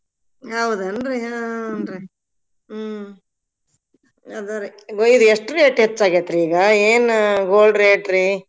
ಹೌದನ್ರಿ ಹ್ಮ್ ಹೂನ್ರಿ ಹ್ಮ್ ಅದರಿ ಇದ್ ಎಷ್ಟ್ rate ಹೆಚ್ಚಾಗೇತ್ರಿ ಈಗ ಏನ gold rate ರಿ.